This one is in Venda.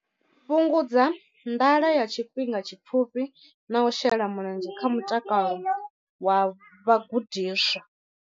Fhungudza nḓala ya tshifhinga tshipfufhi na u shela mulenzhe kha mutakalo wa vhagudiswa.